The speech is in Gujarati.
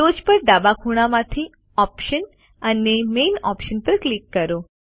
ટોચ પર ડાબા ખૂણામાંથી ઓપ્શન્સ અને મેઇલ ઓપ્શન્સ પર ક્લિક કરો